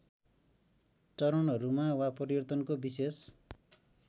चरणहरूमा वा परिवर्तनको विशेष